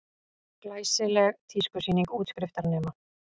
Glæsileg tískusýning útskriftarnema